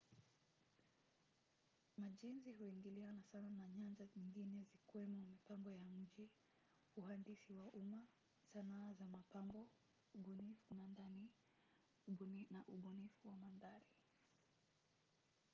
majenzi huingiliana sana na nyanja nyingine zikiwemo mipango ya mji uhandisi wa umma sanaa za mapambo ubunifu wa ndani na ubunifu wa mandhari